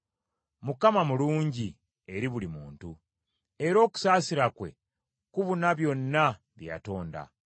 Mukama mulungi eri buli muntu, era okusaasira kwe kubuna byonna bye yatonda.